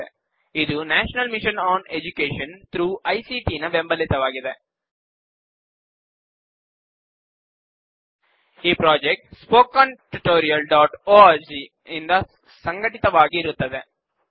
ಇದು ಭಾರತ ಸರ್ಕಾರದ national mission on education through ICT MHRD ಯಿಂದ ಸ್ಪೂರ್ತಿಗೊಂಡಿದೆ ಈ project spoken hyphen tutorial dot org httpspoken tutorialorg ಯಿಂದ ಸಂಘಟಿತವಾಗಿ ಇರುತ್ತದೆ